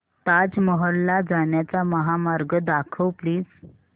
ताज महल ला जाण्याचा महामार्ग दाखव प्लीज